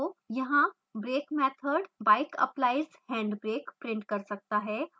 यहाँ brake method bike applies hand brake print कर सकता है